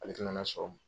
Ale tɛna sɔrɔ